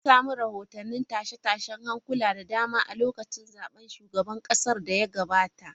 An samu rahotannin tashe-tashen hankula da dama a lokacin zaben shugaban kasar da ya gabata.